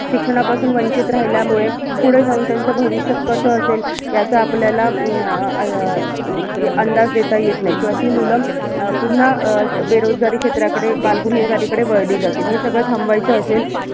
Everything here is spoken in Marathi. शिक्षणापासून वंचीत राहिल्यामुळे, पुढे जाऊन त्याचं भविष्य कसं असेल? याचं आपल्याला अं अं अंदाज देता येत नाही. किंवा ती मुलं पुन्हा अं बेरोजगारी क्षेत्राकडे बालगुन्हेगारी कडे वळली जातील. हे सगळं थांबवायचं असेल